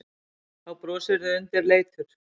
Þá brosirðu undirleitur.